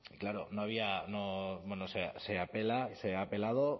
claro se apela y se ha apelado